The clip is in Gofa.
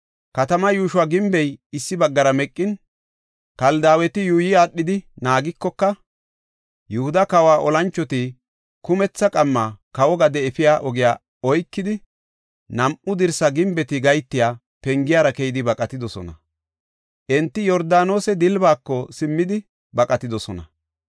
Katamaa yuusho gimbey issi baggara meqin, Kaldaaweti yuuyi aadhidi naagikoka, Yihuda kawa olanchoti kumethi qamma kawo gade efiya ogiya oykidi, nam7u dirsa gimbeti gahetiya pengiyara keyidi baqatidosona. Enti Yordaanose dilbaako simmidi baqatidosona.